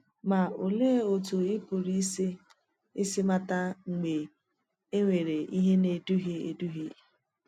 Ma olèe otú ì pụrụ isi isi màtà mgbe e nwere ihe na-eduhie eduhie?